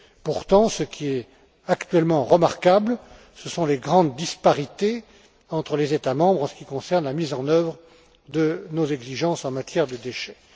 Pourtant, ce qui est actuellement remarquable, ce sont les grandes disparités entre les États membres en ce qui concerne la mise en œuvre de nos exigences en matière de déchets.